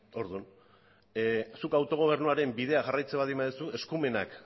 orduan zuk autogobernuaren bidea jarraitzen baldin baduzu eskumenak